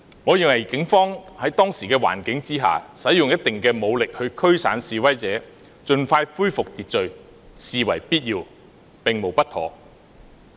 我認為警方在當時的環境下使用一定武力驅散示威者，盡快恢復秩序，實屬必要，並無不妥。